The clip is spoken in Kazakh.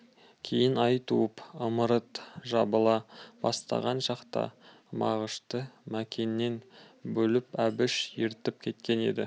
кейін ай туып ымырт жабыла бастаған шақта мағышты мәкеннен бөліп әбіш ертіп кеткен еді